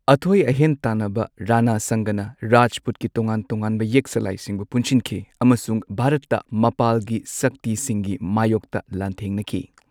ꯑꯊꯣꯢ ꯑꯍꯦꯟ ꯇꯥꯅꯕ ꯔꯥꯅꯥ ꯁꯪꯒꯅ ꯔꯥꯖꯄꯨꯠꯀꯤ ꯇꯣꯉꯥꯟ ꯇꯣꯉꯥꯟꯕ ꯌꯦꯛ ꯁꯂꯥꯏꯁꯤꯡꯕꯨ ꯄꯨꯟꯁꯤꯟꯈꯤ ꯑꯃꯁꯨꯡ ꯚꯥꯔꯠꯇ ꯃꯄꯥꯜꯒꯤ ꯁꯛꯇꯤꯁꯤꯡꯒꯤ ꯃꯥꯌꯣꯛꯇ ꯂꯥꯟꯊꯦꯡꯅꯈꯤ꯫